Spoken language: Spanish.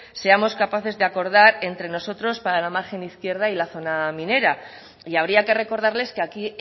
seamos capaces de acordar entre nosotros para la margen izquierda y la zona minera y habría que recordarles que aquí